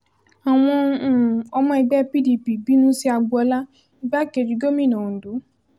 àwọn um ọmọ ẹgbẹ́ pdp bínú sí agboola igbákejì gómìnà ondo